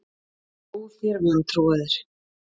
Ó, þér vantrúaðir!